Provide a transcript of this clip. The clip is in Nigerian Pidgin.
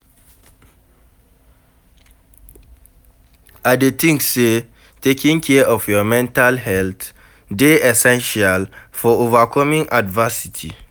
I dey think say taking care of your mental health dey essential for overcoming adversity.